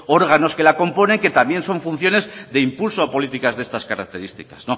órganos que la componen que también son funciones de impulso a políticas de estas características